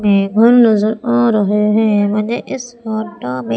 table नजर आ रहे हैं मुझे इस फोटो में--